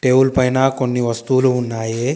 Tool పైన కొన్ని వస్తువులు ఉన్నాయి.